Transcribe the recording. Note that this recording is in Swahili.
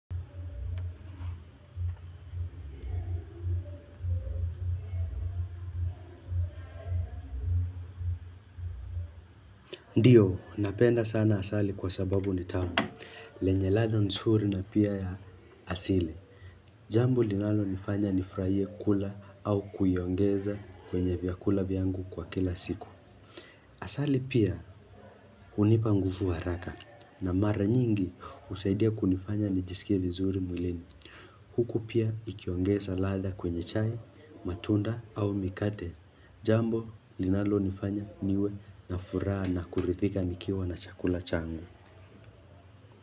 Ndiyo, napenda sana asali kwa sababu ni tamu. Lenye latha nzuri na pia ya asili. Jambo linalo nifanya nifurahie kula au kuiongeza kwenye vyakula vyangu kwa kila siku. Asali pia hunipa nguvu haraka na mara nyingi husaidia kunifanya nijisikie vizuri mwilini. Huku pia ikiongeza latha kwenye chai, matunda au mikate. Jambo, linalo nifanya niwe na furaha na kuridhika nikiwa na chakula changu.